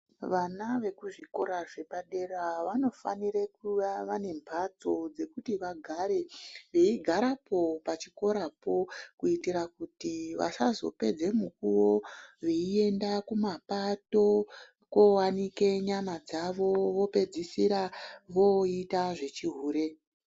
Vana vekuzvikora zvepadera vanofanire kuva vanemhatso dzekuti vagare veigarepo pachikorapo kuitira kuti vasazopedza mukuwo veienda kumapato kooanike nyama dzavo vopedzisira voita zvechihure.